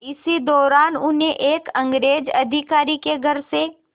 इसी दौरान उन्हें एक अंग्रेज़ अधिकारी के घर से